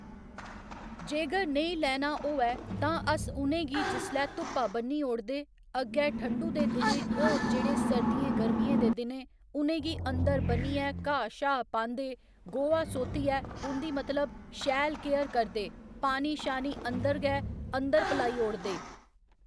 जेगर नेईं लैना होऐ तां अस उ'नेंगी जिसलै धुप्पा बन्नी ओड़दे अग्गै ठंडु दे दिनें होर जेह्ड़े सर्दियें गर्मियें दे दिनें उ'नेंगी अंदर बनियै घाऽ शा पांदे गोहा सोतियै उंदी मतलब शैल केयर करदे पानी शानी अंदर गै अंदर पलाई ओड़दे